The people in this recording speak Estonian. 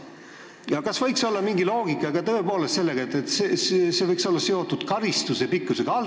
Kas siin võiks tõepoolest olla ka mingi selline loogika, et see tähtaeg võiks olla seotud karistuse pikkusega?